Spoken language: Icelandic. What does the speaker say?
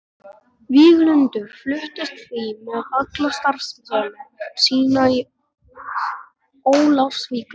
Víglundur fluttist því með alla starfsemi sína til Ólafsvíkur.